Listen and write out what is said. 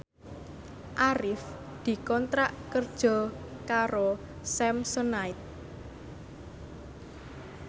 Arif dikontrak kerja karo Samsonite